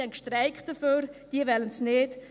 Sie haben gestreikt, sie wollen es nicht.